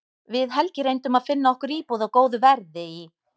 Við Helgi reyndum að finna okkur íbúð á góðu verði í